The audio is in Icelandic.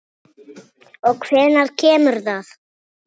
Og hvenær kemur það?